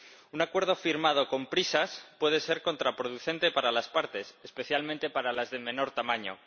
Un acuerdo firmado con prisas puede ser contraproducente para las partes, especialmente para las de menor tamaño.